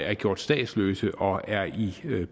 er gjort statsløse og er i